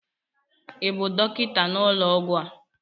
ị bụ dọkịta n'ụlọọgwụ a?